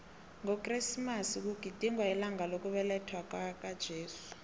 ngokresimasi kugidingwa ilanga lokubelethwakwaka jesu